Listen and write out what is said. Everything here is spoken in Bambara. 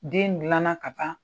Den gilan na ka ban.